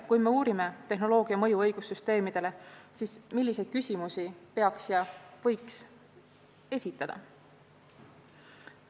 Kui me uurime tehnoloogia mõju õigussüsteemidele, siis milliseid küsimusi tuleks ja võiks esitada?